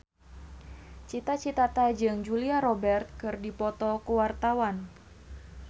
Cita Citata jeung Julia Robert keur dipoto ku wartawan